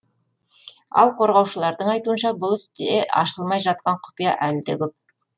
ал қорғаушылардың айтуынша бұл істе ашылмай жатқан құпия әлі де көп